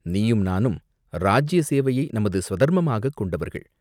நீயும் நானும் இராஜ்ய சேவையை நமது ஸ்வதர்மமாகக் கொண்டவர்கள்.